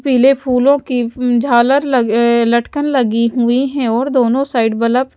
पीले फूलों की अम्म झालर लग अअ लटकन लगी हुई हैं और दोनों साइड बलब --